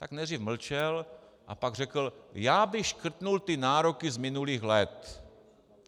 Tak nejdřív mlčel a pak řekl: Já bych škrtl ty nároky z minulých let.